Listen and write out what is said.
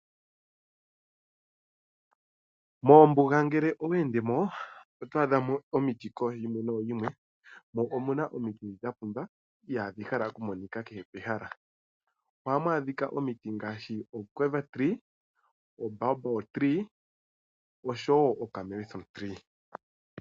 Moombuga ngele oweendemo otwaadha mo omiti kooshimwe nooshimwe . Mo omuna omiti dhapumba ihaadhi monika kehe pehala . Ohamu adhika omiti ngaashi "quiver, baobab oshowoo calme thorn.